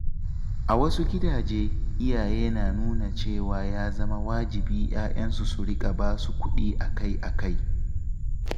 A wasu gidaje, iyaye na tunanin cewa ya zama wajibi 'ya'yansu su riƙa basu kuɗi akai-akai.